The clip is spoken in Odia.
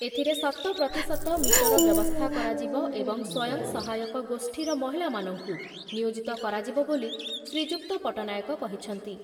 ଏଥିରେ ଶତପ୍ରତିଶତ ମିଟର ବ୍ୟବସ୍ଥା କରାଯିବ ଏବଂ ସ୍ଵୟଂସହାୟକ ଗୋଷ୍ଠୀର ମହିଳାମାନଙ୍କୁ ନିୟୋଜିତ କରାଯିବ ବୋଲି ଶ୍ରୀଯୁକ୍ତ ପଟ୍ଟନାୟକ କହିଛନ୍ତି ।